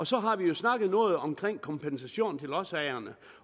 så har vi jo snakket noget om kompensation til lodsejerne